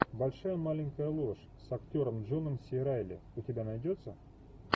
большая маленькая ложь с актером джоном си райли у тебя найдется